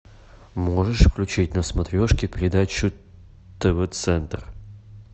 можешь включить на смотрешке передачу тв центр